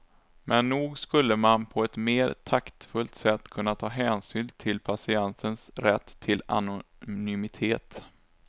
Men nog skulle man på ett mer taktfullt sätt kunna ta hänsyn till patientens rätt till anonymitet.